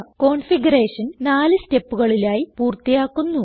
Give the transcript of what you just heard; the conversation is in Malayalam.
കോൺഫിഗറേഷൻ നാല് സ്റ്റെപ്പുകളിലായി പൂർത്തിയാക്കുന്നു